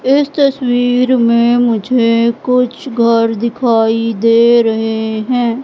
इस तस्वीर में मुझे कुछ घर दिखाई दे रहे हैं।